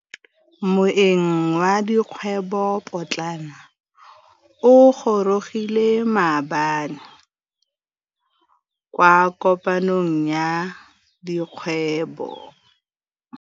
Moêng wa dikgwêbô pôtlana o gorogile maabane kwa kopanong ya dikgwêbô.